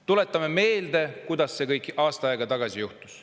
Tuletame meelde, kuidas see kõik aasta aega tagasi juhtus.